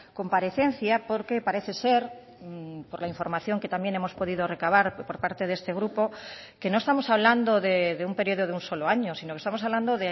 comparecencia porque parece ser por la información que también hemos podido recabar por parte de este grupo que no estamos hablando de un periodo de un solo año sino que estamos hablando